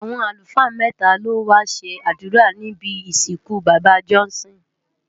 Awọn alúfaa mètá ló wá ṣé adúrá nibi isinkú baba Johnson